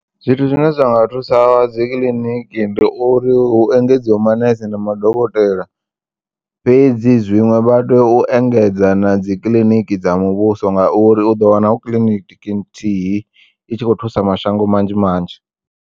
Zwithu zwine zwa nga thusa dzikiḽiniki ndi uri hu engedziwe manese na madokotela, fhedzi zwiṅwe vha tea u engedza na dzikiḽiniki dza muvhuso ngauri u ḓo wana hu kiḽiniki nthihi i tshi kho u thusa mashango manzhi manzhi.